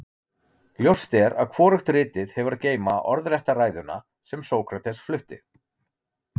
Ljóst er að hvorugt ritið hefur að geyma orðrétta ræðuna sem Sókrates flutti.